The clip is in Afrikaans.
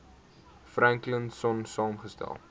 franklin sonn saamgestel